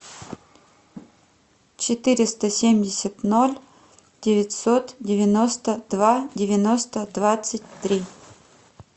четыреста семьдесят ноль девятьсот девяносто два девяносто двадцать три